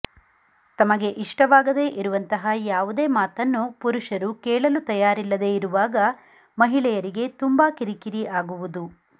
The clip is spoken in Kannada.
ತಮಗೆ ಇಷ್ಟವಾಗದೆ ಇರುವಂತಹ ಯಾವುದೇ ಮಾತನ್ನು ಪುರುಷರು ಕೇಳಲು ತಯಾರಿಲ್ಲದೆ ಇರುವಾಗ ಮಹಿಳೆಯರಿಗೆ ತುಂಬಾ ಕಿರಿಕಿರಿ ಆಗುವುದು